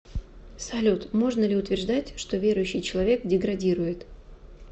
салют можно ли утверждать что верующий человек деградирует